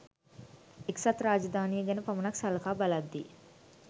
එක්සත් රාජදානිය ගැන පමනක් සලකා බලද්දී